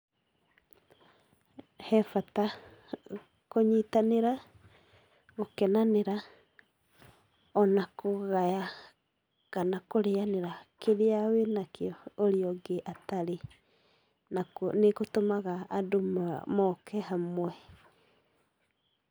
He bata kũnyitanĩra, gũkenanĩra, ona kũgaya, kana kũrĩanĩra kĩrĩa wĩnakĩo ũrĩa ũngĩ atarĩ, nakuo nĩ gũtũmaga andũ moke hamwe.